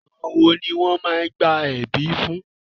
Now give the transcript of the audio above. Àwọn wo ni wọ́n máá ń gba ẹ̀bí fún?